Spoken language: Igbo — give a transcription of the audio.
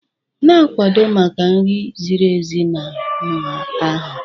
Na-akwado maka nri ziri ezi na nha anya.